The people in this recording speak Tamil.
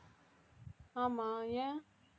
ஆமா ஏன்